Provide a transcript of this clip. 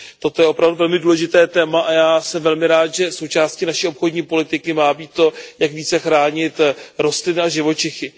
Toto je opravdu velmi důležité téma a já jsem velmi rád, že součástí naší obchodní politiky má být to, jak více chránit rostliny a živočichy.